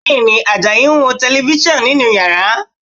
Bẹ́ẹ̀ni, Àjàyí ń wo Tẹlifísàn nínú yàrá